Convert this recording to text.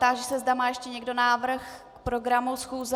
Táži se, zda má ještě někdo návrh k programu schůze.